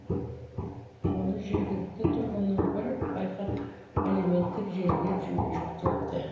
оны жергілікті тұрғынның бірі байқап әлеуметтік желіге жүктепті